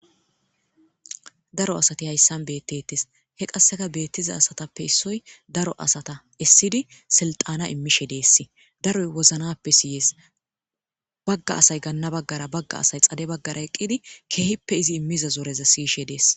Daro asat hasab betetes , ha betiza daro asatappeka issoy isid silixana imishe Des daroy wozanappe siyes. Baga asat gana bagara Baga assay xade bagara eqid keehippe iz imiza zoreza siyishe Des.